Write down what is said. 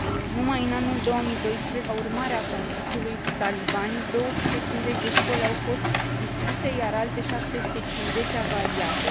Numai în anul 2012, ca urmare a conflictului cu talibanii, 250 de școli au fost distruse, iar alte 750 avariate.